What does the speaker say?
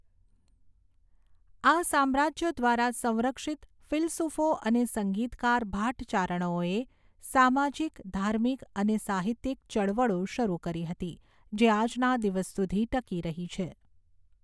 આ સામ્રાજ્યો દ્વારા સંરક્ષિત ફિલસૂફો અને સંગીતકાર ભાટ ચારણોએ સામાજિક ધાર્મિક અને સાહિત્યિક ચળવળો શરૂ કરી હતી જે આજના દિવસ સુધી ટકી રહી છે.